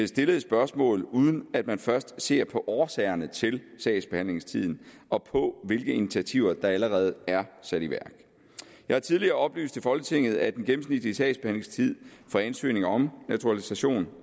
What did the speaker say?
stillede spørgsmål uden at man først ser på årsagerne til sagsbehandlingstiden og på hvilke initiativer der allerede er sat i værk jeg har tidligere oplyst til folketinget at den gennemsnitlige sagsbehandlingstid for ansøgninger om naturalisation